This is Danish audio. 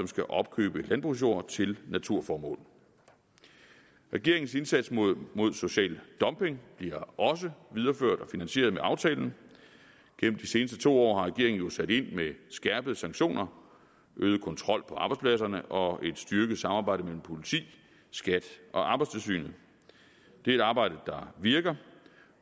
skal opkøbe landbrugsjord til naturformål regeringens indsats mod social dumping bliver også videreført og finansieret med aftalen gennem de seneste to år har regeringen jo sat ind med skærpede sanktioner øget kontrol på arbejdspladserne og et styrket samarbejde mellem politi skat og arbejdstilsynet det er et arbejde der virker